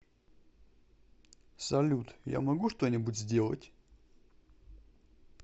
салют я могу что нибудь сделать